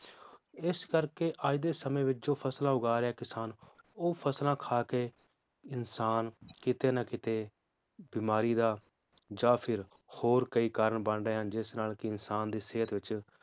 ਇਸ ਕਰਕੇ ਅੱਜ ਦੇ ਸਮੇ ਵਿਚ ਜੋ ਫਸਲਾਂ ਉਗਾ ਰਿਹਾ ਕਿਸਾਨ, ਉਹ ਫਸਲਾਂ ਖਾ ਕੇ, ਇਨਸਾਨ ਕਿਤੇ ਨਾ ਕਿਤੇ ਬਿਮਾਰੀ ਦਾ, ਜਾਂ ਫਿਰ ਹੋਰ ਕਯੀ ਕਾਰਣ ਬਣ ਰਹੇ ਹਨ ਜਿਸ ਨਾਲ ਕਿ ਇਨਸਾਨ ਦੀ ਸਿਹਤ ਵਿਚ